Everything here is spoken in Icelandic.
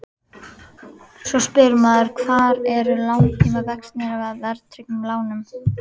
Svo spyr maður hvar eru langtímavextirnir af verðtryggðum lánum?